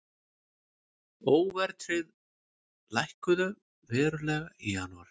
Óverðtryggð lækkuðu verulega í janúar